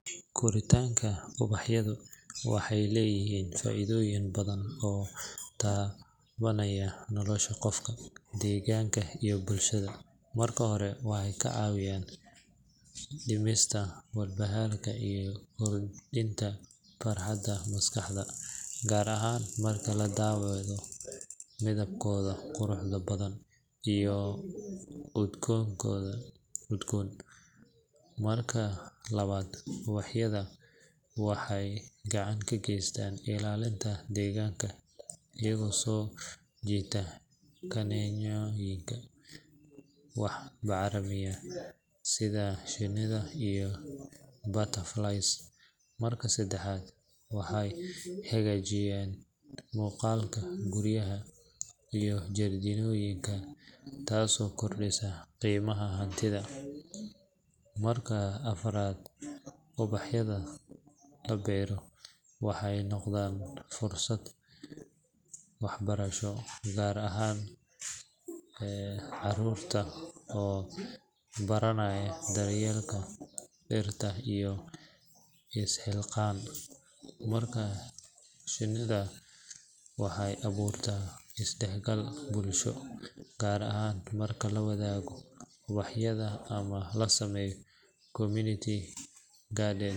Koritaanka ubaxyadu waxay leeyihiin faa’iidooyin badan oo taabanaya nolosha qofka, deegaanka, iyo bulshada. Marka hore, waxay ka caawiyaan dhimista walbahaarka iyo kordhinta farxadda maskaxda, gaar ahaan marka la daawado midabkooda quruxda badan iyo urtooda udgoon. Marka labaad, ubaxyadu waxay gacan ka geystaan ilaalinta deegaanka iyaga oo soo jiita kaneecooyinka wax bacrimiya sida shinnida iyo butterflies. Marka saddexaad, waxay hagaajiyaan muuqaalka guryaha iyo jardiinooyinka, taasoo kordhisa qiimaha hantida. Marka afraad, ubax beero waxay noqdaan fursad waxbarasho, gaar ahaan carruurta, oo baranaya daryeelka dhirta iyo is-xilqaan. Marka shanaad, waxay abuuraan isdhexgal bulsho, gaar ahaan marka la wadaago ubaxyada ama la sameeyo community gardens.